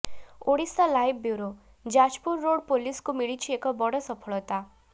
Odisha live bureau Jajpur road ପୋଲିସକୁ ମିଳିଛି ଏକ ବଡ଼ ସଫଳତା